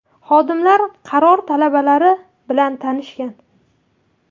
Xodimlar qaror talablari bilan tanishgan.